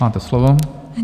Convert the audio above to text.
Máte slovo.